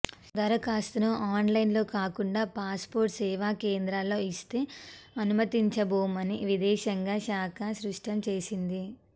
దరఖాస్తును ఆన్లైన్లో కాకుండా పాస్పోర్ట్ సేవా కేంద్రాల్లో ఇస్తే అనుమతించబోమని విదేశాంగా శాఖ స్పష్టం చేసింది